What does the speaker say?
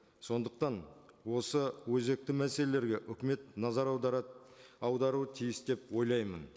сондықтан осы өзекті мәселелерге өкімет назар аударуы тиіс деп ойлаймын